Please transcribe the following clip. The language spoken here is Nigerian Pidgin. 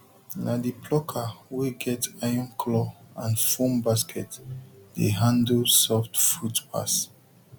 na the plucker wey get iron claw and foam basket dey handle soft fruit pass